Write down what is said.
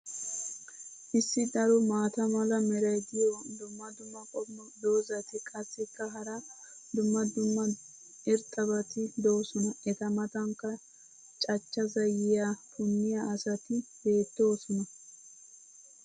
issi daro maata mala meray diyo dumma dumma qommo dozzati qassikka hara dumma dumma irxxabati doosona. eta matankka cachcha zayiyaa punniya asati beettoosona.